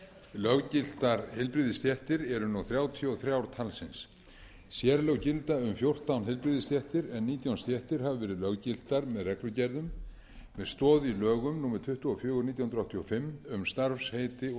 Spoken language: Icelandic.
löggiltar heilbrigðisstéttir eru nú þrjátíu og þrjú talsins sérlög gilda um fjórtán heilbrigðisstéttir en nítján stéttir hafa verið löggiltar með reglugerðum með stoð í lögum númer tuttugu og fjögur nítján hundruð áttatíu og fimm um starfsheiti og